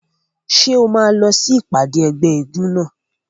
Ṣé o máa lọ sí ìpàdé ẹgbẹ́ eégún náà?